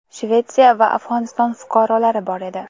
Shvetsiya va Afg‘oniston fuqarolari bor edi.